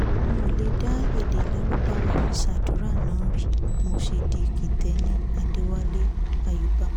n ò lè dá èdè lárúbáàwá fi ṣàdúnnárì mo ṣe di kítẹni adéwálé ayaba